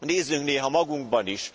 nézzünk néha magunkba is.